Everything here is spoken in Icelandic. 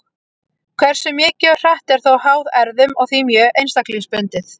Hversu mikið og hratt er þó háð erfðum og því mjög einstaklingsbundið.